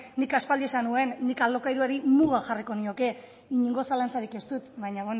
nik aspaldi esan nuen nik alokairuari muga jarriko nioke inongo zalantzarik ez dut baina